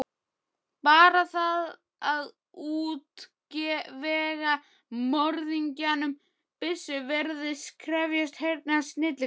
Bara það að útvega morðingjanum byssu virðist krefjast hreinnar snilligáfu.